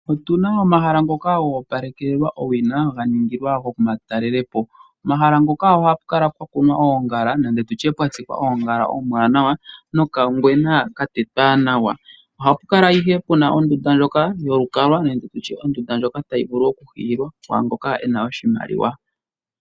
Otu na omahala ngoka go opalekelwa owina, ga ningilwa omatalelepo. Pomahala ngoka ohapu kala pwa kuna oongala nenge ndutye pwa tsikwa oongala ombwaanawa nokangwena ka tetwa nawa. Ohapu kala ihe puna ondunda ndjika yokukalwa nenge nditye ondunda ndjoka tayi vulu oku hiyilwa kwaangoka ena oshimaliwa.